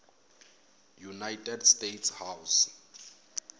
united states house